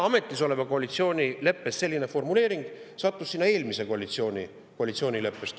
Ametis oleva koalitsiooni leppes olev formuleering sattus sinna eelmise koalitsiooni koalitsioonileppest.